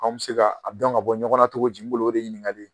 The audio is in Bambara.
Anw bɛ se ka a dɔn ka bɔ ɲɔgɔn na cogo di n bolo o de ɲininkali ye